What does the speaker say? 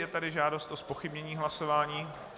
Je tady žádost o zpochybnění hlasování.